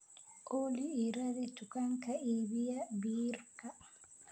Olly, ii raadi dukaan iibiya biirka